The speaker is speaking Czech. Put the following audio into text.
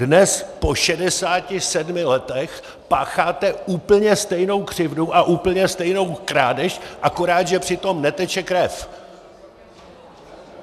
Dnes po 67 letech pácháte úplně stejnou křivdu a úplně stejnou krádež, akorát že při tom neteče krev!